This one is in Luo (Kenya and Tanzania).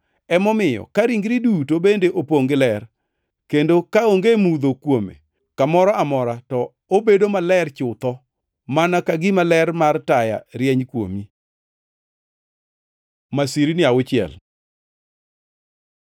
Emomiyo, ka ringri duto bende opongʼ gi ler, kendo kaonge mudho kuome kamoro amora to obedo maler chutho, mana ka gima ler mar taya rieny kuomi.” Masirni auchiel